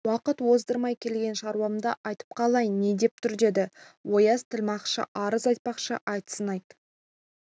уақыт оздырмай келген шаруамды айтып қалайын не деп тұр деді ояз тілмашқа арыз айтпақшы айтсын айт